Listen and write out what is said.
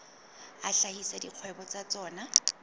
a hlahisa dikgwebo tsa tsona